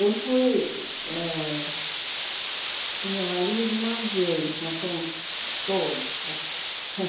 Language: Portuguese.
Eu fui ãh com o meu marido uma vez, nós fomos todos.